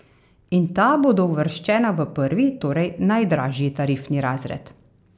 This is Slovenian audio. In ta bodo uvrščena v prvi, torej najdražji tarifni razred.